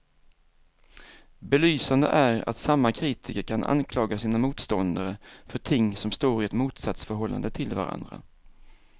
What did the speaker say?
Belysande är att samma kritiker kan anklaga sina motståndare för ting som står i ett motsatsförhållande till varandra.